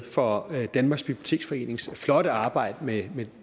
for danmarks biblioteksforenings flotte arbejde med